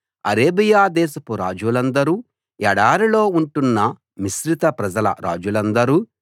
Arabia దేశపు రాజులందరూ ఎడారిలో ఉంటున్న మిశ్రిత ప్రజల రాజులందరూ